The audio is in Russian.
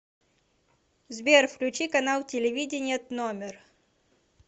сбер включи канал телевидения тномер